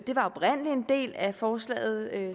var oprindelig en del af forslaget